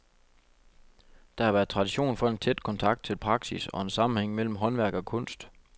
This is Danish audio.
Der været tradition for en tæt kontakt til praksis og en sammenhæng mellem håndværk og kunst.